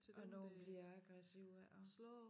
Og nogle bliver aggressive ik og